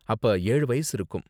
அப்ப ஏழு வயசு இருக்கும்.